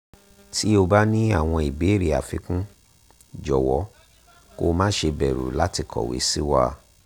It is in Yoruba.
tí o bá ní àwọn ìbéèrè àfikún jọ̀wọ́ kó má ṣe bẹ̀rù láti kọ̀wé sí wa